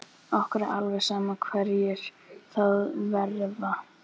Okkur er alveg sama hverjir það verða.